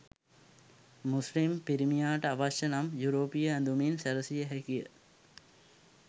මුස්ලිම් පිරිමියාට අවශ්‍ය නම් යුරෝපීය ඇඳුමින් සැරසිය හැකිය.